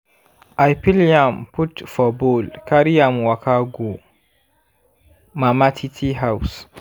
i peel yam put for bowl carry am waka go mama titi house.